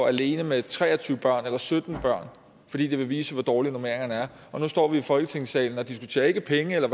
alene med tre og tyve børn eller sytten børn fordi de vil vise hvor dårlige normeringerne er og nu står vi i folketingssalen og diskuterer ikke penge og